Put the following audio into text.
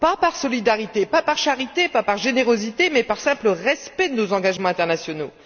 Pas par solidarité, pas par charité, pas par générosité, mais par simple respect de nos engagements internationaux.